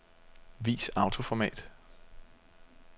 Vis autoformat.